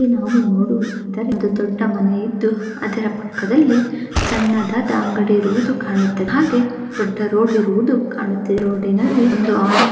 ಹ ನೋಡಿ ಇಲ್ಲಿ ಒಂದು ದೊಡ್ಡ ಮನೆ ಇದ್ದು ಅದರ ಪಕ್ಕದಲ್ಲಿ ಸಣ್ಣದಾದ ಅಂಗಡಿ ಇರುವುದು ಕಾಣುತ್ತದೆ ಹಾಗು ದೊಡ್ಡ ರೋಡ್ ಇರುವುದು ಕಾಣುತ್ತಿದೆ. ರೋಡ್ ನಲ್ಲಿ ಒಂದು ಆಟೋ --